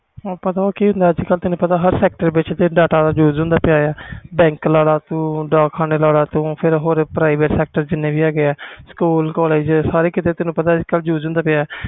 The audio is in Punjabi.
ਪਤਾ ਕਿ ਹੁੰਦਾ ਸੀ ਹਰ sector ਵਿਚ ਹੁੰਦਾ ਸੀ ਬੈਂਕ ਡਾਕਖਾਨ ਤੇ ਹੋਰ ਜਿੰਨੇ ਵੀ private sector ਹੈ ਗੇ ਵ ਸਕੂਲ collage ਵਿਚ use ਹੁੰਦਾ ਵ